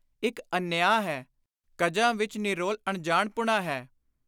ਇਕ ਅਨਿਆਂ ਹੈ; ਕਜਾਂ ਵਿਰ ਨਿਰੋਲ ਅਨਜਾਣਪੁਣਾ ਹੈ।